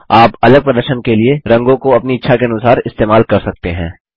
आप अलग प्रदर्शन के लिए रंगों को अपनी इच्छा के अनुसार इस्तेमाल कर सकते हैं